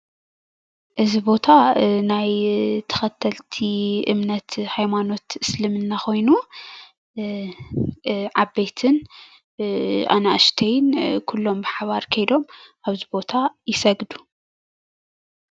እዚ ቦታ ናይ ተኸተልቲ እምነት ሃይማኖት እስልምና ኾዮኑ ዓበይትን ኣናእሽተይን ኩሎም ብሓባር ከይዶም ኣብዚ ቦታ ይሰግዱ።